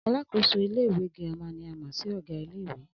Alákòóso ilé ìwé girama ni a mò̩ sí ò̩gá ilé ìwé